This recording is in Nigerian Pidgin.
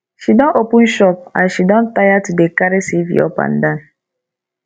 she don open shop as she don tire to dey carry cv up and down